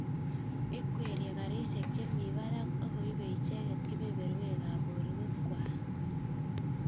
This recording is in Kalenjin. Ikwerie garisiek chemi barak akoibe icheget kebeberwekan borwek Kwai